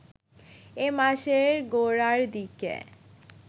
এ মাসের গোড়ার দিকে